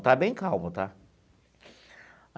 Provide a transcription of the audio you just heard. Estava bem calmo tá.